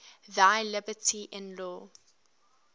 thy liberty in law